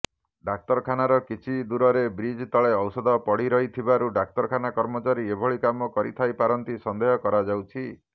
ଡାକ୍ତରଖାନାର କିଛି ଦୂରରେ ବ୍ରିଜ ତଳେ ଔଷଧ ପଡ଼ିରହିଥିବାରୁ ଡାକ୍ତରଖାନା କର୍ମଚାରୀ ଏଭଳି କାମ କରିଥାଇପାରନ୍ତି ସନ୍ଦେହ କରାଯାଉଛି